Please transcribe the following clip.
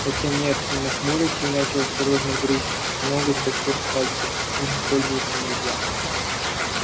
хотя нет он нахмурился и начал осторожно грызть ноготь большого пальца ими пользоваться нельзя